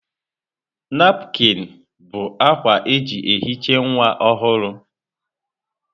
Napụkịn bụ akwa eji ehicha nwa ọhụrụ.